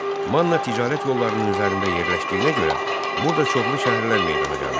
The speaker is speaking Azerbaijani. Manna ticarət yollarının üzərində yerləşdiyinə görə burada çoxlu şəhərlər meydana gəlmişdi.